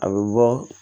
A bɛ bɔ